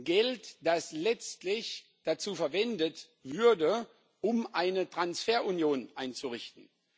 Geld, das letztlich dazu verwendet würde, um eine Transferunion einzurichten.